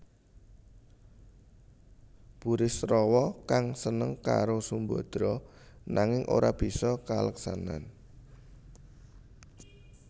Burisrawa kang seneng karo Sumbadra nanging ora bisa kaleksanan